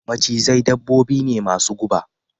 Macizai dabbobi ne masu guba